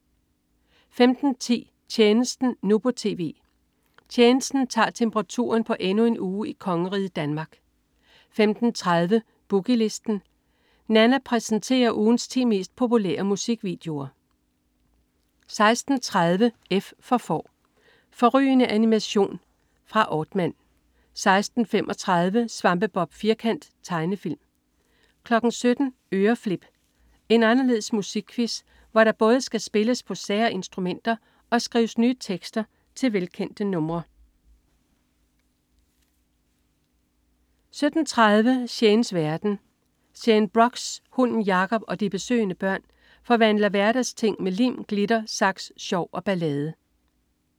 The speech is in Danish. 15.10 Tjenesten, nu på tv. "Tjenesten" tager temperaturen på endnu en uge i kongeriget Danmark 15.30 Boogie Listen. Nanna præsenterer ugens 10 mest populære musikvideoer 16.30 F for Får. Fårrygende animation fra Aardman 16.35 Svampebob Firkant. Tegnefilm 17.00 Øreflip. En anderledes musikquiz, hvor der både skal spilles på sære musikinstrumenter og skrives nye tekster til velkendte numre 17.30 Shanes verden. Shane Brox, hunden Jacob og de besøgende børn forvandler hverdagsting med lim, glitter, saks, sjov og ballade